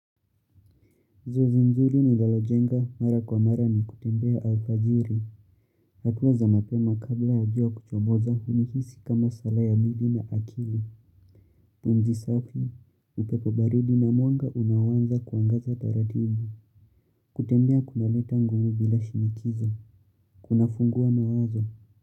Zoezi nzuri ninalo jenga mara kwa mara ni kutembea alfajiri. Hatua za mapema kabla ya jua kuchomoza unihisi kama sala ya bidii na akili. Pumzi safi, upepo baridi na mwanga unaowanza kuangaza taratibu. Kutembea kuna leta nguvu bila shinikizo. Kuna fungua mawazo.